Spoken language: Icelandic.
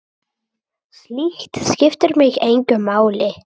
Slíkt skiptir mig engu máli.